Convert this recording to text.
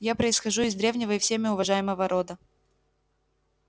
я происхожу из древнего и всеми уважаемого рода